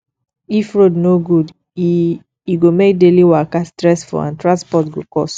if road no good e e go make daily waka stressful and transport go cost